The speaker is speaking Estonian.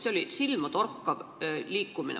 See oli silmatorkav liikumine.